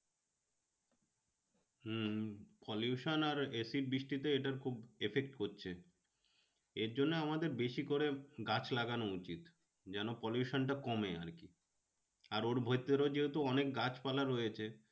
হম pollution আর acid বৃষ্টিতে এটার খুব effect করছে। এর জন্যে আমাদের বেশি করে গাছ লাগানো উচিত। যেন pollution টা কমে আর কি। আর ওর ভেতরে যেহেতু অনেক গাছ পালা রয়েছে